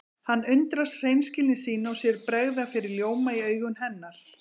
Hann undrast hreinskilni sína og sér bregða fyrir ljóma í augum hennar.